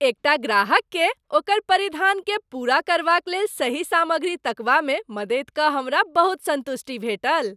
एकटा ग्राहककेँ ओकर परिधानकेँ पूरा करबाक लेल सही सामग्री तकबामे मदति कऽ हमरा बहुत सन्तुष्टि भेटल।